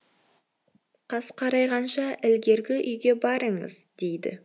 қас қарайғанша ілгергі үйге барыңыз дейді